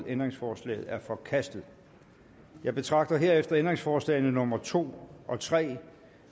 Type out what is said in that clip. ændringsforslaget er forkastet jeg betragter herefter ændringsforslagene nummer to og tre